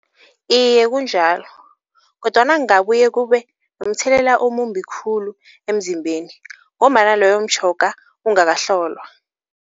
Iye kunjalo kodwana kungabuye kube mthelela omumbi khulu emzimbeni ngombana loyo mtjhoga ungakahlolwa.